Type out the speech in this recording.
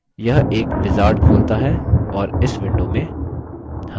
यह एक wizard खोलता है और इस window में